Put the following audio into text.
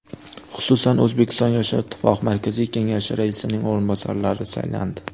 Xususan, O‘zbekiston yoshlar ittifoqi Markaziy Kengashi raisining o‘rinbosarlari saylandi.